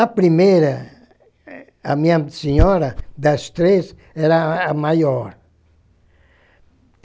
A primeira, a minha senhora, das três, era a a maior.